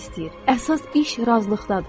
Əsas iş razılıqdadır.